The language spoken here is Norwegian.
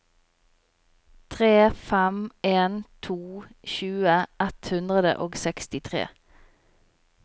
tre fem en to tjue ett hundre og sekstitre